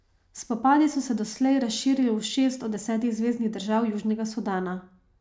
Spopadi so se doslej razširili v šest od desetih zveznih držav Južnega Sudana.